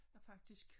Har faktisk